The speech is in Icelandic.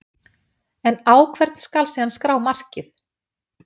En á hvern skal síðan skrá markið?